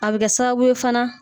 A bɛ kɛ sababu ye fana